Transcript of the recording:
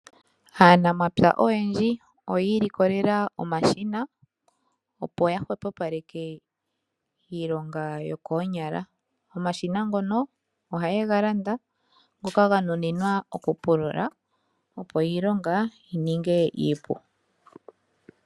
Aanamapya oyendji oyii likolela omashina opo ya hwepo paleke iilonga yokoonyala omashina ngono ohaye ga landa ngoka ga nuninwa okupulula opo iilonga yininge iipu.